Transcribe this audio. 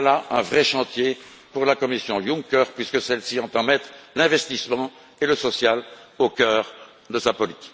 Il y a là un vrai chantier pour la Commission Juncker, puisque celle ci entend mettre l'investissement et le social au cœur de sa politique.